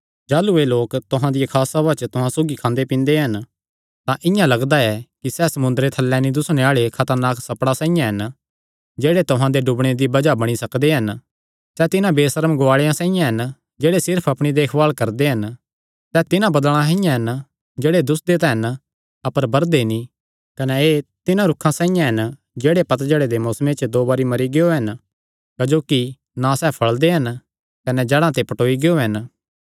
जाह़लू एह़ लोक तुहां दियां खास सभां च तुहां सौगी खांदे पींदे हन तां इआं लगदा ऐ कि सैह़ समुंदरे थल्लैं नीं दुस्सणे आल़े खतरनाक सप्पड़ां साइआं हन जेह्ड़े तुहां दे डुबणे दी बज़ाह बणी सकदे हन सैह़ तिन्हां बेसर्म गुआले साइआं हन जेह्ड़े सिर्फ अपणी देखभाल करदे हन सैह़ तिन्हां बदल़ा साइआं हन जेह्ड़े दुस्सदे तां हन अपर बरदे नीं कने एह़ तिन्हां रूखां साइआं हन जेह्ड़े पतझड़े दे मौसमे च दो बरी मरी गियो हन क्जोकि ना सैह़ फल़दे हन कने जड़ां ते पटौई गियो हन